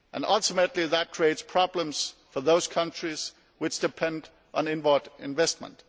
Ultimately that creates problems for those countries which depend on inward investment.